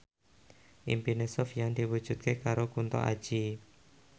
impine Sofyan diwujudke karo Kunto Aji